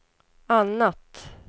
annat